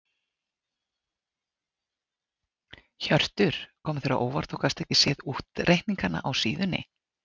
Hjörtur: Kom þér á óvart að þú gast ekki séð útreikningana á síðunni?